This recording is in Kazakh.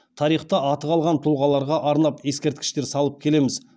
тарихта аты қалған тұлғаларға арнап ескерткіштер салып келеміз